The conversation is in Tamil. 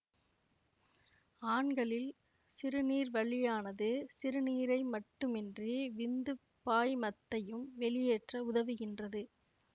ஆண்களில் சிறுநீர்வழியானது சிறுநீரை மட்டுமன்றி விந்துப் பாய்மத்தையும் வெளியேற்ற உதவுகின்றது